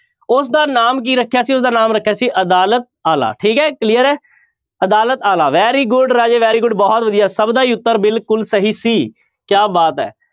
ਉਸਦਾ ਨਾਮ ਕੀ ਰੱਖਿਆ ਸੀ ਉਸਦਾ ਨਾਮ ਰੱਖਿਆ ਸੀ ਅਦਾਲਤ ਆਲਾ ਠੀਕ ਹੈ clear ਹੈ ਅਦਾਲਤ ਆਲਾ very good ਰਾਜੇ very good ਬਹੁਤ ਵਧੀਆ ਸਭ ਦਾ ਹੀ ਉੱਤਰ ਬਿਲਕੁਲ ਸਹੀ ਸੀ ਕਿਆ ਬਾਤ ਹੈ।